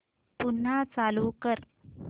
पुन्हा चालू कर